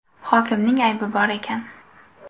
Hokimning aybi bor ekan.